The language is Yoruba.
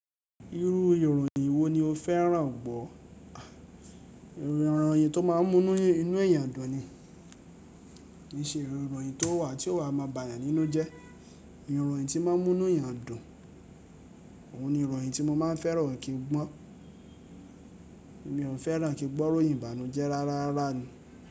Irú ìròyìn wo ni o fẹ́ràn gbọ́? Ìròyìn tó máa ń mú inú èèyàn dùn ni. Kì í ṣe ìròyìn tó wà tí ó wa máa bà yàn nínú jẹ. Ìròyìn tí máa ń mú inú èèyàn dùn, òun ni ìròyìn tí mo máa ń fẹ́ràn kí n gbọ́. Mi ò fẹ́ràn kí n gbọ́ ìròyìn ìbànújẹ́ rárá rárá ni.